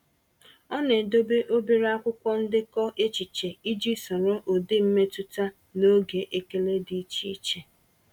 Ọ na-edobe obere akwụkwọ ndekọ echiche iji soro ụdị mmetụta na oge ekele dị iche iche.